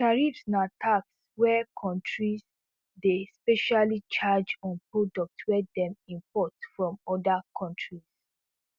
tariffs na tax wey kontris dey specially charge on products wey dem import from oda kontris